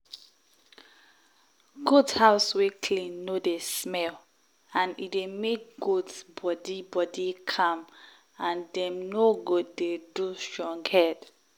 goat house wey clean no dey smell and e dey make goat body body calm and dem no go dey do strong head.